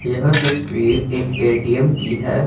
यह तस्वीर एक ए_टी_एम की है।